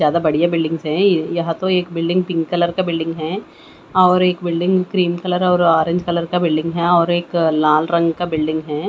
ज्यादा बढ़िया बिल्डिंग हैं यहां तो एक बिल्डिंग पिंक कलर का बिल्डिंग है और एक बिल्डिंग क्रीम कलर और ऑरेंज कलर का बिल्डिंग है और एक लाल रंग का बिल्डिंग है।